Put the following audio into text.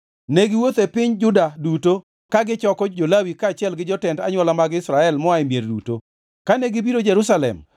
Ne giwuotho e piny Juda duto ka gichoko jo-Lawi kaachiel gi jotend anywola mag Israel moa e mier duto. Kane gibiro Jerusalem,